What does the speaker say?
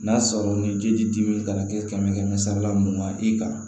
N'a sɔrɔ ni ji tɛ dimi kana kɛ kɛmɛ kɛmɛ sara la mugan i kan